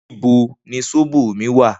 Nibó ni sóbó mi wá?